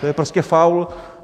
To je prostě faul.